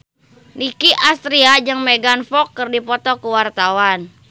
Nicky Astria jeung Megan Fox keur dipoto ku wartawan